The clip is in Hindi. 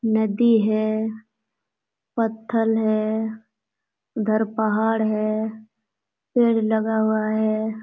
नदी है पत्थल है उधर पहाड़ है पेड़ लगा हुआ है।